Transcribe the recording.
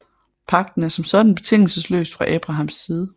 Pagten er som sådan betingelsesløst fra Abrahams side